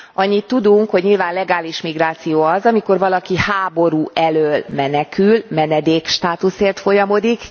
Annyit tudunk, hogy nyilván legális migráció az, amikor valaki háború elől menekül, menedékstátuszért folyamodik.